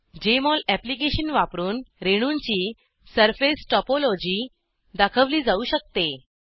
Jmol application वापरून रेणूंची surface topology दाखवली जाऊ शकते